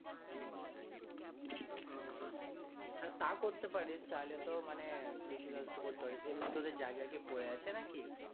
হম তা করতে পারিস চাইলে তো মানে কৃষি কাজ টা করতে পারিস আমি তে তোদের জায়গা পরে আছে না কি।